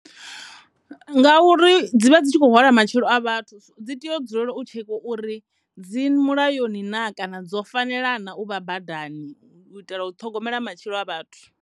Ngauri dzi vha dzi tshi khou hwala matshilo a vhathu dzi tea u dzulela u tshekhiwa uri dzi mulayoni na kana dzo fanela na u vha badani u iytela u ṱhogomela matshilo a vhathu.